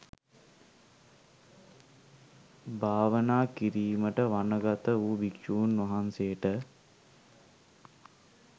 භාවනා කිරීමට වනගත වූ භික්‍ෂූන් වහන්සේට